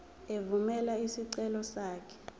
evumela isicelo sakho